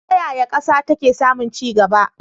Ta yaya ƙasa take samun ci gaba?